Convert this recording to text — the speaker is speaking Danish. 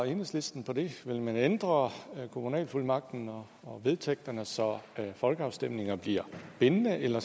enhedslisten på det vil man ændre kommunalfuldmagten og og vedtægterne så folkeafstemninger bliver bindende eller